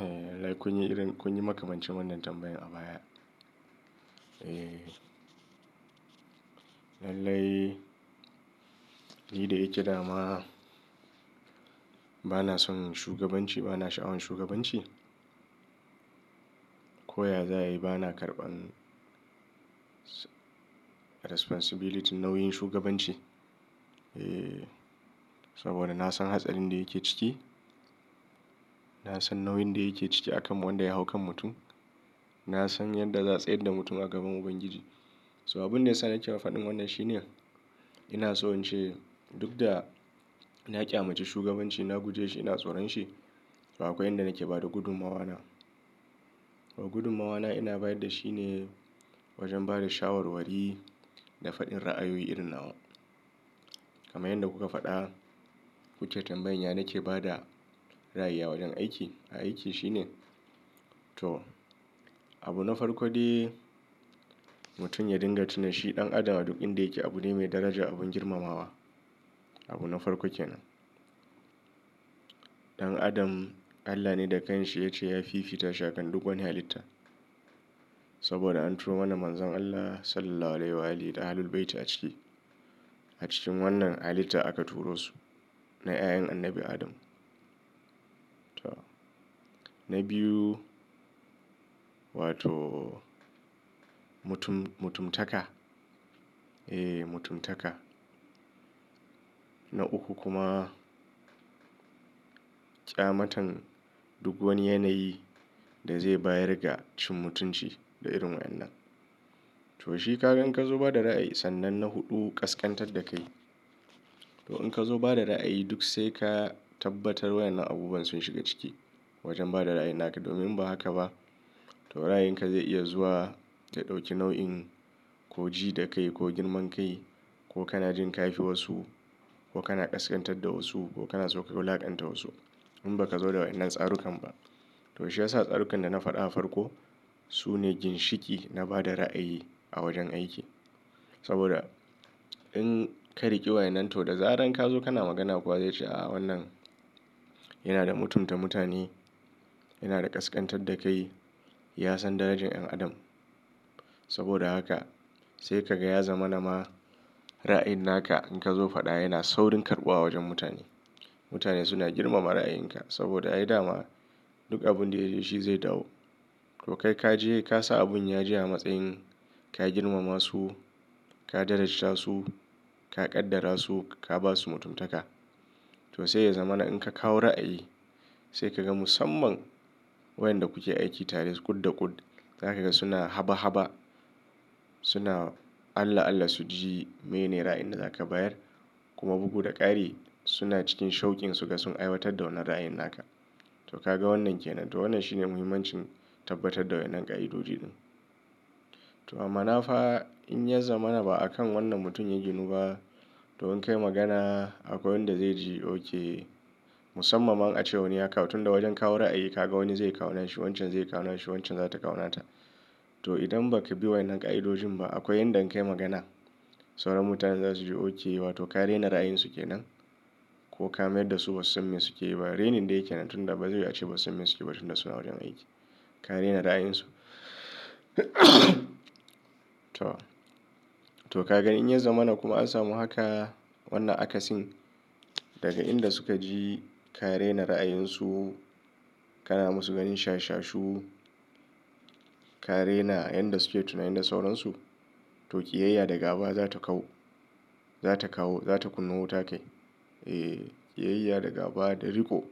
Eh, lallai kun yi irin, kun yi makamancin wannan tambayan a baya. Eh, lallai ni da yake dama bana son shugabanci, bana sha'awan shugabanci. Koya za a yi bana karɓan responsibility nauyin shugabanci. Eh, saboda na san hatsarin da yake ciki. Na san nauyin da yake ciki akan wanda ya hau kan mutum. Na san yadda za tsai da mutum a gaban Ubangiji. So abin da yasa na ke faɗin wannan shine, ina so in ce duk da na ƙyamace shugabanci na guje shi, ina tsoron shi. To akwai inda nake ba da gudummawa na. Gudummawa na ina bayar da shine wajen bada shawarwari da faɗin ra'ayoyi irin nawa. Kaman yadda kuka faɗa, kuke tambayan yana ke ba da ra'aya wajen aiki. A aiki shine to abu na farko dai mutum ya dinga tuna shi ɗan adama a duk inda yake abu ne mai daraja abin girmamawa. Abu na farko kenan. Dan adam Allah ne da kanshi ya ce ya fifita shi akan duk wani halitta. Saboda an turo mana manzan Allah Sallallahu Alaihi da Ali da Ahlul Bayti a ciki. A cikin wannan halitta aka turo su. Na 'yan Annabi Adam. To na biyu wato mutum-mutuntaka. Eh, mutuntaka. Na uku kuma ƙyamatan duk wani yanayi da zai bayar ga cin mutunci da irin wayen nan. To shi ka gan ka zo ba da ra'ayi sannan na huɗu kaskantar da kai. To in ka zo ba da ra'ayi duk sai ka tabbatar wayen nan abubuwan sun shiga ciki wajen ba da ra'ayi naka domin ba haka ba. To ra'ayin ka zai iya zuwa ta ɗauki nau'in ko ji da kai ko girman kai ko kana jin kafi wasu ko kana ƙasƙantar da wasu ko kana sauka wula'akanta wasu. In ba ka zo da wannan tsarukan ba. Dan adam Allah ne da kanshi ya ce ya fifita shakan duk wani halitta. Saboda inka riki wayannan to zaran kazo kana magana kowa zace a, a wanana yana da mutunta mutane yana kaskan tadda da kai, ya san darajar dan adam saboda haka sai kaga ya zamana ma ra'ayin naka in ka zo faɗa yana saurin karɓuwa a wajen mutane. Mutane suna girmama ra'ayinka saboda a yi dama duk abin da ya ji shi zai dawo. To kai ka je ka sa abin ya ji a matsayin ka girmama su, ka daraja su, ka ƙaddara su, ka ba su mutuntaka. To sai ya zama na in ka kawo ra'ayi sai ka ga musamman wayanda kuke aiki tare kud da kud. Za ka ga suna haba-haba. Suna Allah-Allah su ji mene ra'ayin da zaka bayar. Kuma bugu da ƙari suna cikin shaukin su ka sun aiwatar da wannan ra'ayin naka. To ka ga wannan kenan. To wannan shine muhimmancin tabbatar da wayen nan ƙa'idodi din. To amma na fa in ya zama na ba akan wannan mutum ya ginu ba. To in ka yi magana akwai wanda zai ji oke musamman a ce wane aka tunda wajen kawo ra'ayi ka ga wani zai kawo na shi, wancan zai kawo na shi, wancan za ta kawo nata. To idan ba ka bi wayen nan ƙa'idojin ba akwai inda in ka yi magana sauran mutanen za su ji oke wato ka rena ra'ayin su kenan. Ko ka mayar da su wasu samin suke yi ba. Renin da yake nan tunda ba zai wuce wasu samin suke ba tunda suna wajen aiki. Ka rena ra'ayin su. To. To ka ga in ya zama na kuma an samu haka wannan akasin daga inda suka ji ka rena ra'ayin su, kana musu ganin shashashu, ka rena yan da suke tunani da sauransu. To ƙiyayya da gaba za ta kau. Za ta kawo, za ta kunn to. Eh, ƙiyayya da gaba da riko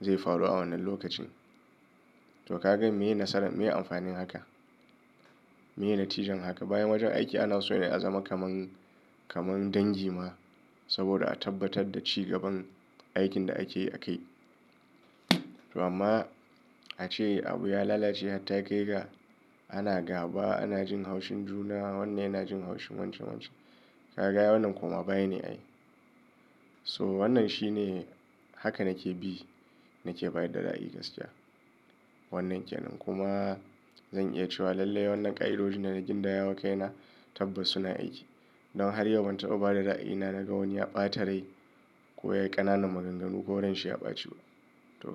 zai faru a wannan lokacin. To ka gan menene nasaran, menene amfanin haka. Menene tijiyan haka. Bayan wajen aiki ana so yana ya zama kaman, kaman dangi ma. Saboda a tabbatar da ci gaban aikin da ake a kai. To amma a ce abu ya lalace har ta kai ga ana gaba, ana jin haushin juna, wannan yana jin haushin wancan wancan. Ka ga wannan kuma baya ne a yi. So wannan shi ne haka nake bi nake bayar da ra'ayi gaskiya. Wannan kenan kuma zan iya cewa lallai wannan ƙa'idojin da na gindaya wa kai na tabbasu na aiki. Don har yau ban taɓa ba da ra'ayi na naga wani ya ɓata rai ko ya yi ƙananan maganganu ko wurin shi ya ɓaci ba. To kai.